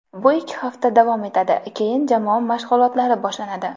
Bu ikki hafta davom etadi, keyin jamoa mashg‘ulotlari boshlanadi.